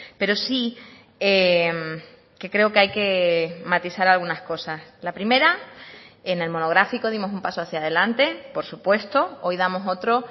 pero sí que creo que hay que matizar algunas cosas la primera en el monográfico dimos un paso hacia adelante por supuesto hoy damos otro